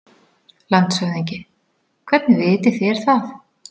LANDSHÖFÐINGI: Hvernig vitið þér það?